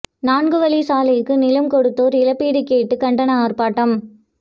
நான்கு வழி சாலைக்கு நிலம் கொடுத்தோர் இழப்பீடு கேட்டு கண்டன ஆர்ப்பாட்டம்